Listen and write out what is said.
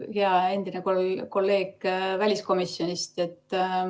Hea endine kolleeg väliskomisjonist!